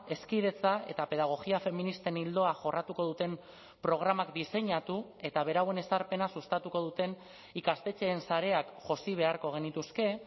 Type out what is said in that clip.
hezkidetza eta pedagogia feministen ildoa jorratuko duten programak diseinatu eta berauen ezarpena sustatuko duten ikastetxeen sareak josi beharko genituzke